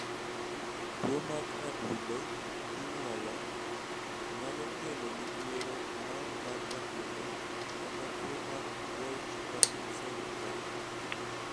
Tuo mag adundo kinyuolo (kon-JEN-ih-tal) nyalo kelo midhiero moko mag adundo, kaka tuo mar Wolff-Parkinson-White.